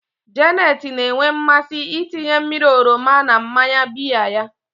Janet na-enwe mmasị ịtinye mmiri oroma na mmanya biya ya.